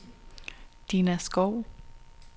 Diana Skou